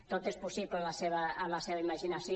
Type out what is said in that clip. tot és possible en la seva imaginació